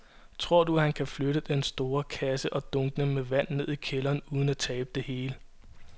Tror du, at han kan flytte den store kasse og dunkene med vand ned i kælderen uden at tabe det hele?